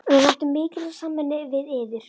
Við væntum mikils af samvinnunni við yður